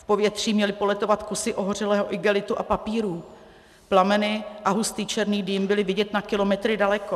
V povětří měly poletovat kusy ohořelého igelitu a papíru, plameny a hustý černý dým byly vidět na kilometry daleko.